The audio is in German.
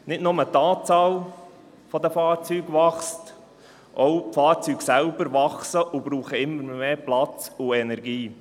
Nicht nur die Anzahl der Fahrzeuge wächst, auch die Fahrzeuge selbst «wachsen» und brauchen immer mehr Platz und Energie.